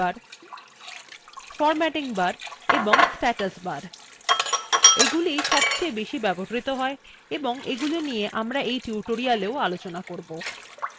formatting bar এবং status bar এগুলিwe সবচেয়ে বেশি ব্যবহৃত হয় এবং এগুলি নিয়ে আমরা tutorialsএও আলোচনাও করবো